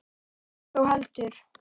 Hitt þó heldur.